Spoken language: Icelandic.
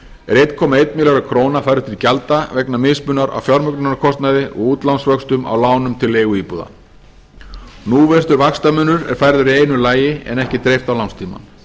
er einn komma einn milljarður króna færður til gjalda vegna mismunar á fjármögnunarkostnaði og útlánsvöxtum á lánum til leiguíbúða núvirtur vaxtamunur er færður í einu lagi en ekki dreift á lánstímann